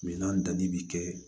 Minan danni bi kɛ